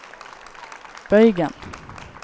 bøygen